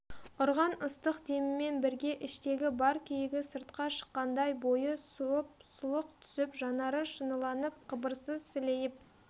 ұрған ыстық демімен бірге іштегі бар күйігі сыртқа шыққандай бойы суып сұлық түсіп жанары шыныланып қыбырсыз сілейіп